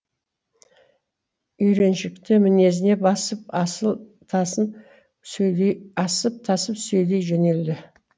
үйреншікті мінезіне басып асыл тасын сөйлей асып тасып сөйлей жөнелді